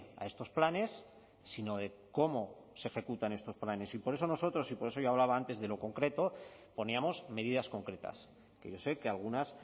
a estos planes sino de cómo se ejecutan estos planes y por eso nosotros y por eso yo hablaba antes de lo concreto poníamos medidas concretas que yo sé que algunas